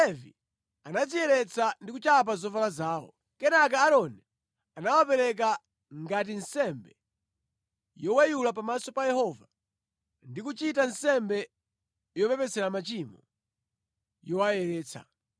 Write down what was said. Alevi anadziyeretsa ndi kuchapa zovala zawo. Kenaka Aaroni anawapereka ngati nsembe yoweyula pamaso pa Yehova ndi kuchita nsembe yopepesera machimo yowayeretsa.